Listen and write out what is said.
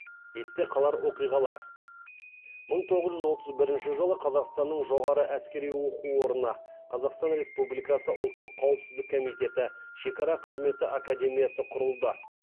есте қалар оқиғалар мың тоғыз жүз отыз бірінші жылы қазақстанның жоғары әскери оқу орны қазақстан республикасы ұлттық қауіпсіздік комитеті шекара қызметі академиясы құрылды